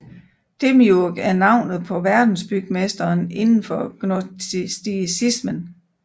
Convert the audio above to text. Demiurg er navnet på verdensbygmesteren inden for gnosticismen